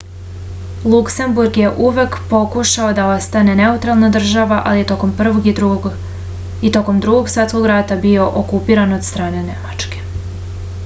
luksemburg je uvek pokušao da ostane neutralna država ali je tokom prvog i tokom drugog svetskog rata bio okupiran od strane nemačke